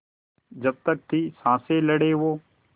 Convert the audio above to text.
जब तक थी साँस लड़े वो